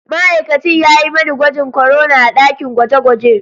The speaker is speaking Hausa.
Ma'aikacin ya yi mani gwajin korona a dakin gwaje-gwaje.